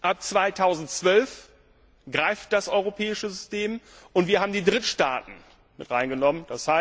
Ab 2012 greift das europäische System, und wir haben die Drittstaaten mit hineingenommen.